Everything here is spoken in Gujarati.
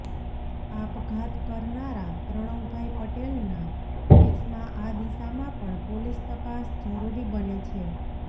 આપઘાત કરનારા પ્રણવભાઈ પટેલના કેસમાં આ દિશામાં પણ પોલીસ તપાસ જરૃરી બને છે